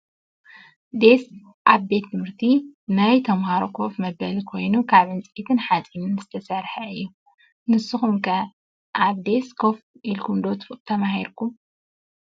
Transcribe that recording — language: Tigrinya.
ዴስ ኣብ ቤት ትምህርቲ ናይ ተማሃሮ ኮፍ መበሊ ኮይኑ ካብ ዕንፀይትን ሓፂንን ዝተሰረሓ እዩ። ንስኩም ከ ኣብ ዴስ ኮፍ ኢልኩም ዶ ተማሂርኩም ?